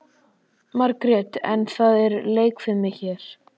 Margrét: En það er leikfimi hér.